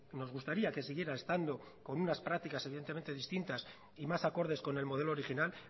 nos gustaría que siguiera estando con unas prácticas evidentemente distintas y más acordes con el modelo original